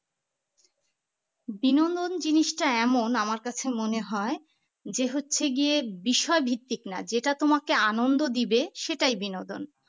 বিনোদন জিনিসটা এমন আমার কাছে মনে হয় যে হচ্ছে গিয়ে বিষয় ভিত্তিক না যেটা তোমাকে আনন্দ দিবে সেটাই বিনোদন